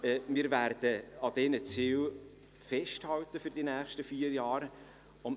Wir werden während der nächsten vier Jahre an diesen Zielen festhalten.